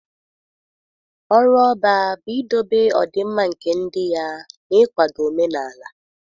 Ọrụ Ọbá bụ idobe ọdịmma nke ndị ya na ịkwado omenala.